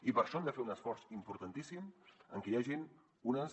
i per això hem de fer un esforç importantíssim en què hi hagin unes